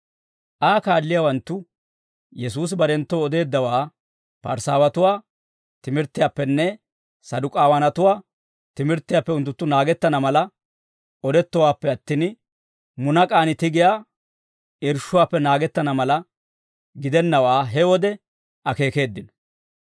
Aa kaalliyaawanttu Yesuusi barenttoo odeeddawaa, Parisaawatuwaa timirttiyaappenne Saduk'aawanatuwaa timirttiyaappe unttunttu naagettana mala odettowaappe attin, munak'aan tigiyaa irshshuwaappe naagettana mala gidennawaa he wode akeekeeddino.